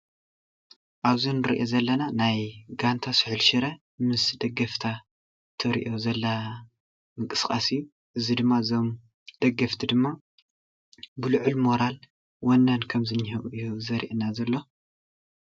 ኣብዚ እንሪኦ ዘለና ናይ ጋንታ ሰሑል ሸረ ምስ ደገፍታ ተርእዮ ዘላ ሞንቅስቃስ እዩ። እዙይ ድማ እዞም ደገፍቲ ድማ ብሉዑል ሞራልን ወነን ኸም ዘኒሄውን እዩ ዘርእየና ዘሎ።